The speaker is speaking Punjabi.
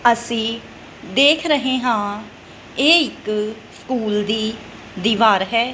ਅੱਸੀ ਦੇਖ ਰਹੇ ਹਾਂ ਇਹ ਇੱਕ ਸਕੂਲ ਦੀ ਦੀਵਾਰ ਹੈ।